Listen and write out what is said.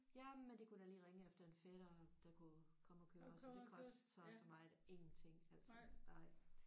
Jamen de kunne da lige ringe efter en fætter der kunne komme og køre os og det kostede så og så meget. Ingenting altså nej